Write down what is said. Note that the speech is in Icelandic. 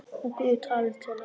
En Guð talaði til hennar.